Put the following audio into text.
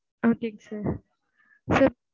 okay ங் sir